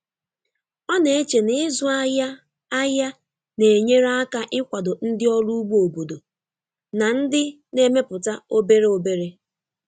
Ọ na-eche na ịzụ ahịa ahịa na-enyere aka ịkwado ndị ọrụ ugbo obodo na ndị na-emepụta obere obere.